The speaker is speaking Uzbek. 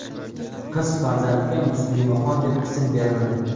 Qiz farzandga Muslimaxon deb ism berildi.